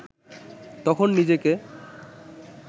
তখন নিজেকে